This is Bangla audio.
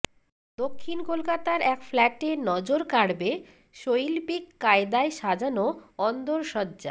দক্ষিণ কলকাতার এক ফ্ল্যাটে নজর কাড়বে শৈল্পিক কায়দায় সাজানো অন্দরসজ্জা